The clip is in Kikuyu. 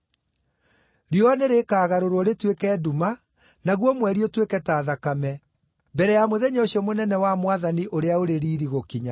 Riũa nĩrĩkagarũrwo rĩtuĩke nduma, naguo mweri ũtuĩke ta thakame, mbere ya mũthenya ũcio mũnene wa Mwathani ũrĩa ũrĩ riiri gũkinya.